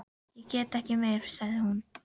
Ég get ekki meir, sagði hún.